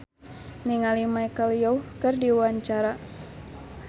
Melanie Putri olohok ningali Michelle Yeoh keur diwawancara